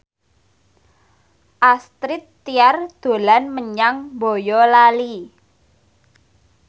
Astrid Tiar dolan menyang Boyolali